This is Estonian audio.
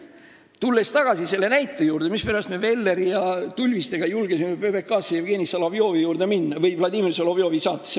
Tulen tagasi selle näite juurde, mispärast me julgesime Velleri ja Tulvistega minna PBK-sse Jevgeni Solovjovi juurde või Vladimir Solovjovi saatesse.